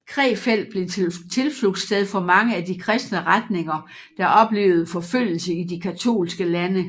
Krefeld blev til tilflugtssted for mange af de kristne retninger der oplevede forfølgelse i de katolske lande